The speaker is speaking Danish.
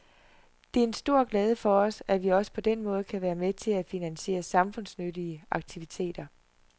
Det er en glæde for os, at vi også på den måde kan være med til at finansiere samfundsnyttige aktiviteter.